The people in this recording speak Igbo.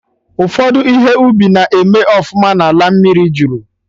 Ụfọdụ ihe ubi na-eme ọfụma na ala mmiri jụrụ